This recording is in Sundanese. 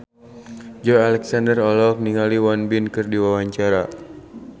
Joey Alexander olohok ningali Won Bin keur diwawancara